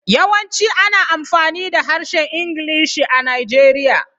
Yawanci ana amfani da Harshen Ingilishi a Najeriya.